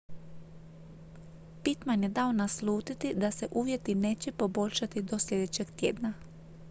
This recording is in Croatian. pittman je dao naslutiti da se uvjeti neće poboljšati do sljedećeg tjedna